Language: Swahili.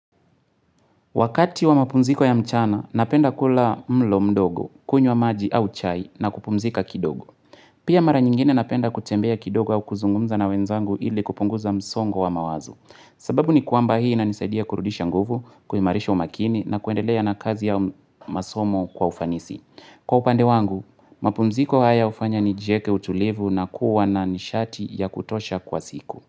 Wakati wa mapumziko ya mchana, napenda kula mlo mdogo, kunywa maji au chai na kupumzika kidogo. Pia mara nyingine napenda kutembea kidogo au kuzungumza na wenzangu ili kupunguza msongo wa mawazo. Sababu ni kwamba hii inanisaidia kurudisha nguvu, kuimarisha umakini na kuendelea na kazi au masomo kwa ufanisi. Kwa upande wangu, mapumziko haya hufanya nijieke utulivu na kuwa na nishati ya kutosha kwa siku.